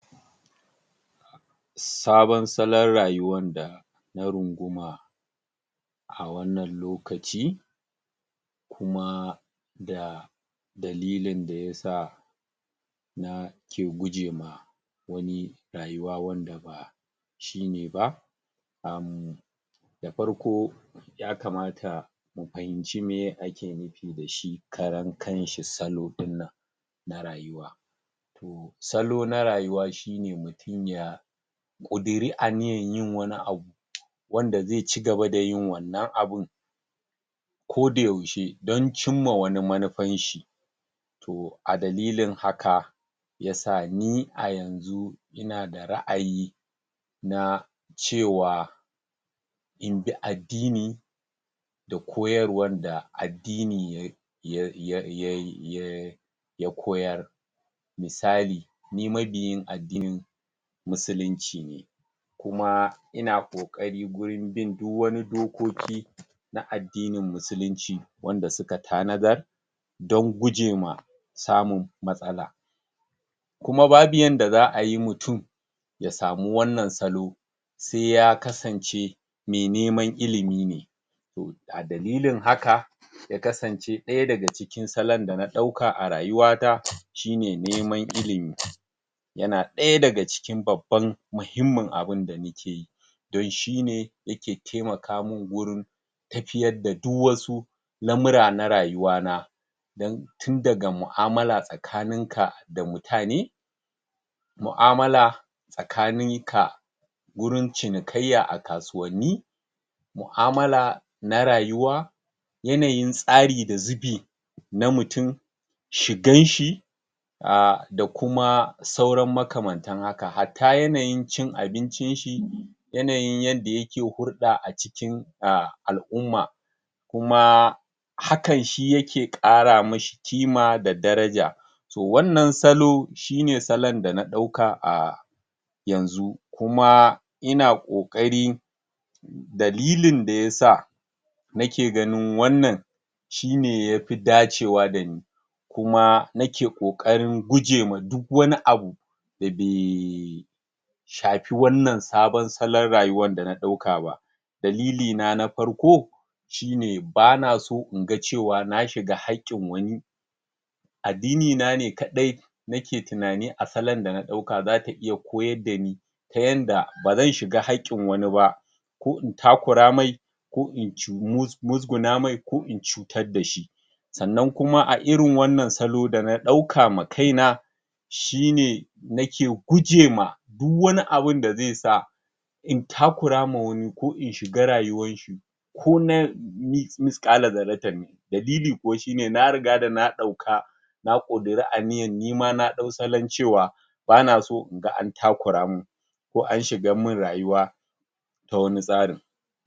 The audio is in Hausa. sabon salon rayuwan da na runguma a wannan lokaci kuma da dalilin dayasa nake guje ma wani rayuwa wanda shine ba umm da farko ya kamata mu fahimci meye ake nufi da shi karankanshi salo dinnan na rayuwa salo na rayuwa shine mutum ya ƙuduri aniyan yin wani abu wanda zai cigaba dayin wannan abun ko da yaushe don cimma wani manufan shi to adalilin haka yasa ni a yanzu inada ra'ayi na cewa inbi addini da koyarwar da addini ya ya ya koyar misali ni mabiyin addinin musulunci ne kuma ina ƙoƙari wurin bin duk wani dokoki na addinin musulunci wanda suka tanadar don gujema samun matsala kuma babu yanda za'ayi mutum ya samu wannan salo saiya kasance me neman ilimi ne a dalilin haka ya kasance ɗaya daga cikin salon da na ɗauka a rayuwata shine neman ilimi yana ɗaya daga cikin babban mahimmin abunda nakeyi don shine yake taimaka min gurin tafiyar da du wasu lamura na rayuwa na dan tun daga mu'amala tsakanin ka da mutane mu'amala tsakanin ka wurin cinikayya a kasuwanni mu'amala na rayuwa yanayin tsari da zubi na mutun shigan shi aah da kuma sauran makamantan haka hatta yanayin cin abincin shi yanayin yadda yake hurɗa a cikin al'umma kuma hakan shi yake ƙara mashi ƙima da daraja to wannan salo shine salon dana ɗauka a yanzu kuma ina ƙoƙari dalilin da yasa nake ganin wannan shine yafi dacewa dani kuma nake ƙoƙarin gujewa duk wani abu dabe shafi wannan sabon salon rayuwan dana ɗauka ba dalili na na farko shine banaso inga cewa na shiga haƙƙin wani addini nane kaɗai nake tunanin a salon dana ɗauka zata iya koyar dani ya yadda bazan shiga haƙƙin wani ba ko in muzguna mai ko in cutar dashi sannan kuma a irin wannan salo dana ɗauka ma kaina shine nake guje ma duk wani abunda zaisa in takurama wani ko in shiga rayuwan shi kona misƙala zarratan ne dalili kuwa shine na rigada na ɗauka na kuduri aniyan nima na ɗau salon cewa banaso inga an takura min ko an shigan min rayuwa ta wani tsarin.